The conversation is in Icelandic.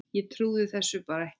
Ég trúði þessu bara ekki.